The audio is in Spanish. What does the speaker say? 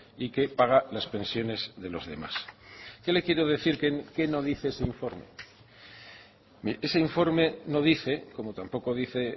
y que paga las pensiones de los demás qué le quiero decir que no dice ese informe mire ese informe no dice como tampoco dice